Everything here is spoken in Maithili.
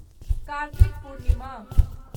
कार्तिक पूर्णिमा